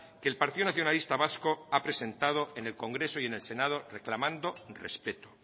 que el partido nacionalista vasco ha presentado en el congreso y en el senado reclamando respeto